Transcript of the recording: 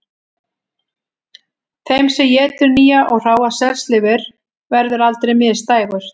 Þeim sem étur nýja og hráa selslifur verður aldrei misdægurt